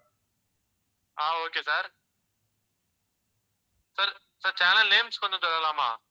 ஆஹ் okay sir sir, channel names கொஞ்சம் சொல்லலாமா?